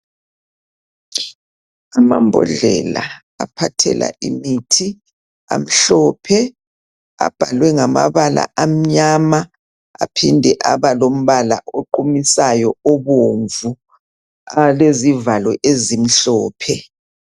Amambodlela aphathela imithi amhlophe . Abhalwe ngamabala amnyama .Aphinde aba lombala oqumisayo obomvu .Alezivalo ezimhlophe .